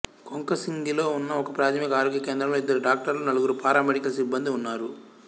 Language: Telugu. కొంకసింగిలో ఉన్న ఒకప్రాథమిక ఆరోగ్య కేంద్రంలో ఇద్దరు డాక్టర్లు నలుగురు పారామెడికల్ సిబ్బందీ ఉన్నారు